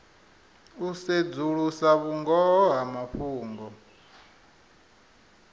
u sedzulusa vhungoho ha mafhungo